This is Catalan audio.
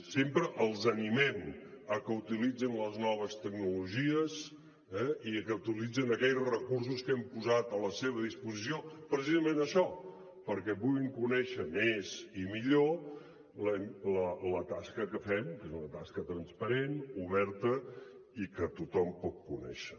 sempre els animem a que utilitzin les noves tecnologies eh i a que utilitzin aquells recursos que hem posat a la seva disposició precisament per això perquè puguin conèixer més i millor la tasca que fem que és una tasca transparent oberta i que tothom pot conèixer